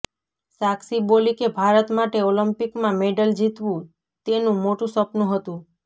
સાક્ષી બોલી કે ભારત માટે ઓલિમ્પિકમાં મેડલ જીતવું તેનું મોટું સપનું હતુ